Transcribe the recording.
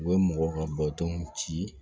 U bɛ mɔgɔw ka badenw ci